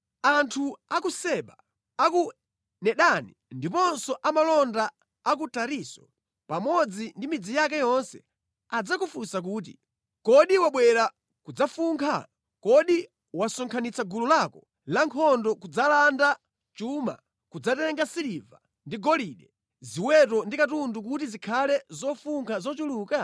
Anthu a ku Seba, a ku Dedani ndiponso amalonda a ku Tarisisi pamodzi ndi midzi yake yonse adzakufunsa kuti, ‘Kodi wabwera kudzafunkha? Kodi wasonkhanitsa gulu lako la nkhondo kudzalanda chuma, kudzatenga siliva ndi golide, ziweto ndi katundu kuti zikhale zofunkha zochuluka?’ ”